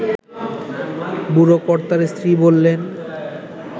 বুড়োকর্তার স্ত্রী বললেন